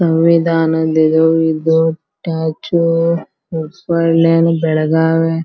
ಸಂವಿಧಾನದ ಇದು ಇದು ಸ್ಟ್ಯಾಚು ಹುಬ್ಬಳ್ಳಿ ಬೆಳಗಾವಿ--